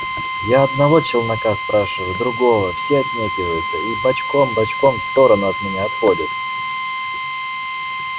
я одного челнока спрашиваю другого все отнекиваются и бочком-бочком в сторону от меня отходят